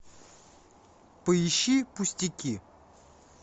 поищи пустяки